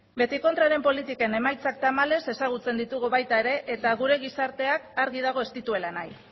beti kontraren politiken emaitzak tamalez ezagutzen ditugu baita ere eta gure gizarteak argi dago ez dituela nahi